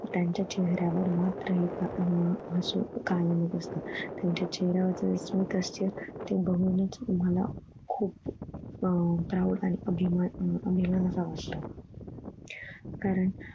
त्यांच्या चेहऱ्या वर मात्र एकदा आह हसू कायम असत त्याच्या चेहऱ्या वरच स्मिथ हास्य ते बघून च मला खुप अह proud आणि अभिमान हम्म अभिमान असा वाटतो. कारण